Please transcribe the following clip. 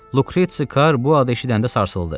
Lukretsi Kar bu adı eşidəndə sarsıldı.